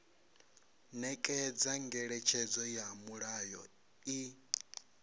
nekedza ngeletshedzo ya mulayo i